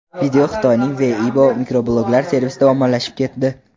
Video Xitoyning Weibo mikrobloglar servisida ommalashib ketdi.